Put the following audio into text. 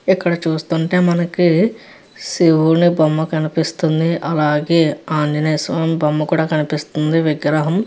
ఇక్కడ చూస్తుంటే మనకి శివుని బొమ్మ కనిపిస్తుంది. అలాగే ఆంజనేయ స్వామి బొమ్మ కనిపిస్తుంది. విగ్రహం --